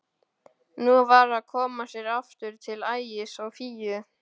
Nú var að koma sér aftur til Ægis og Fíu.